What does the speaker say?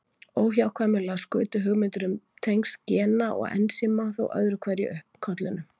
Óhjákvæmilega skutu hugmyndir um tengsl gena og ensíma þó öðru hverju upp kollinum.